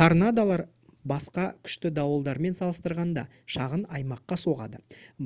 торнадолар басқа күшті дауылдармен салыстырғанда шағын аймаққа соғады